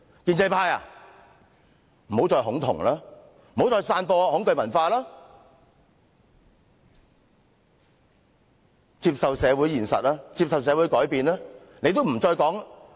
建制派，不要再恐同，不要再散播恐懼文化，接受社會現實，接受社會改變吧。